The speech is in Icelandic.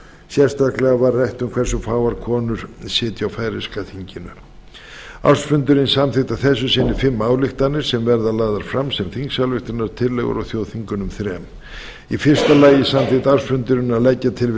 sérstaklega var rætt um hversu fáar konur sitja á færeyska þinginu ársfundurinn samþykkti að þessu sinni fimm ályktanir sem verða lagðar fram sem þingsályktunartillögur á þjóðþingunum þremur í fyrsta lagi samþykkti ársfundurinn að leggja til við